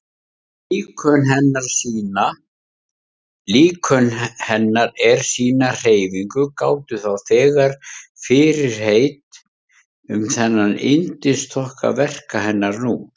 Líkön hennar er sýna hreyfingu gáfu þá þegar fyrirheit um þennan yndisþokka verka hennar nú.